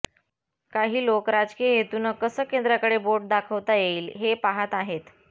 काही लोक राजकीय हेतून कसं केंद्राकडे बोट दाखवता येईल हे पाहात आहेत